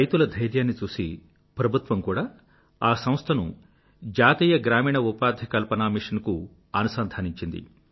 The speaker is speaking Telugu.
రైతుల ధైర్యాన్ని చూసి ప్రభుత్వం కూడా ఆ సంస్థను రాష్ట్రీయ ఆజీవిక మిషన్National రూరల్ లైవ్లీహుడ్ మిషన్ NRLMకు జతపరిచింది